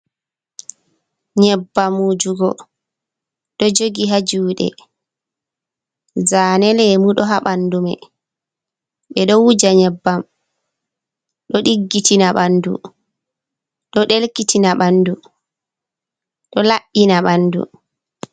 Nyebbam wujugo ɗo jogi ha juɗe. Zane lemu ɗo ha ɓandumei. Ɓe ɗo wuja nyebbam, ɗo Ɗiggitina ɓandu, ɗo ɗelkitina ɓandu, ɗo Labɓina ɓandu.